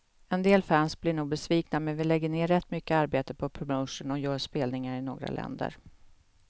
En del fans blir nog besvikna, men vi lägger ner rätt mycket arbete på promotion och gör spelningar i några länder.